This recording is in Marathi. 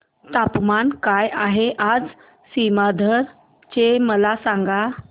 तापमान काय आहे आज सीमांध्र चे मला सांगा